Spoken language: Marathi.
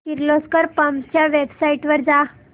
किर्लोस्कर पंप्स च्या वेबसाइट वर जा